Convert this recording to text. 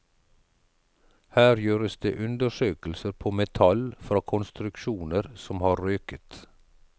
Her gjøres det undersøkelser på metall fra konstruksjoner som har røket.